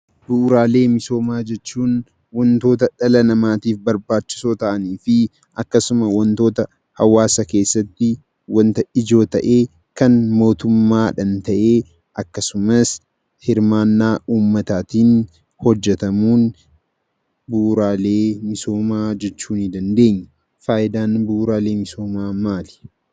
Bu'uuraalee misoomaa jechuun wantoota dhala namaatiif barbaachisoo ta'anii fi akkasuma wantoota hawaasa keessatti wanta ijoo ta'ee kan mootummaadhaan ta'ee akkasumas hirmaannaa uummataatiin hojjatamuun bu'uuraalee misoomaa jechuunii dandeenya. Fayidaan bu'uuraalee misoomaa maalidha?